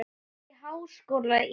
Hún var í háskóla í